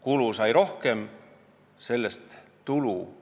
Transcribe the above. Kulu on rohkem – tulu,